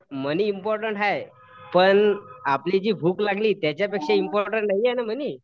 मनी important हाय पण आपली जी भूक लागली त्याच्यापेक्षा इम्पॉर्टन्ट नाहीये ना मनी.